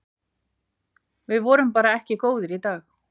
Við vorum bara ekki góðir í dag.